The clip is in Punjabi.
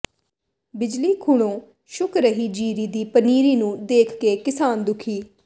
ਬਿਜਲੀ ਖੁਣੋਂ ਸੁੱਕ ਰਹੀ ਜੀਰੀ ਦੀ ਪਨੀਰੀ ਨੂੰ ਦੇਖ ਕੇ ਕਿਸਾਨ ਦੁਖੀ